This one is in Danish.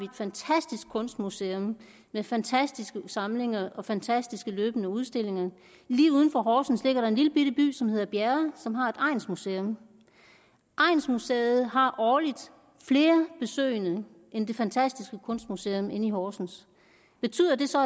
fantastisk kunstmuseum med fantastiske samlinger og fantastiske løbende udstillinger lige uden for horsens ligger der en lillebitte by som hedder bjerre og som har et egnsmuseum egnsmuseet har årligt flere besøgende end det fantastiske kunstmuseum inde i horsens betyder det så